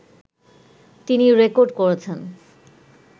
তিনি রেকর্ড করেছেন